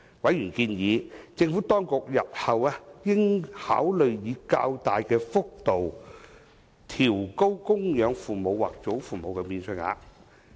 委員建議，政府當局日後應考慮以較大的幅度調高供養父母或祖父母免稅額。